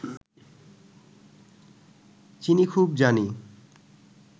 চিনি খুব জানি